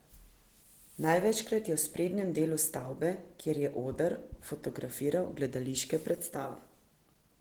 Največkrat je v sprednjem delu stavbe, kjer je oder, fotografiral gledališke predstave.